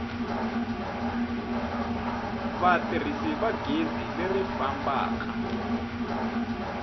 vatirhisi va gezi leri fambaka